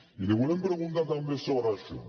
i li volem preguntar també sobre això